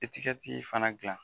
Etikɛti fana dilan